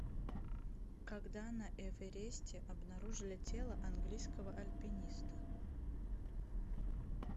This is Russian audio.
когда на эвересте обнаружили тело английского альпиниста